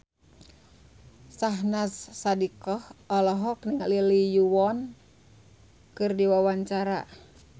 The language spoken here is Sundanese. Syahnaz Sadiqah olohok ningali Lee Yo Won keur diwawancara